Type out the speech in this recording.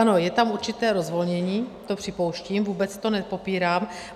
Ano, je tam určité rozvolnění, to připouštím, vůbec to nepopírám.